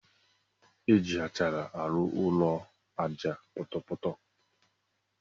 Eji achara arụ ụlọ aja ọpọtọpọtọ.